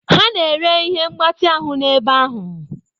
Ha na-ere ihe mgbatị ahụ n'ebe ahụ.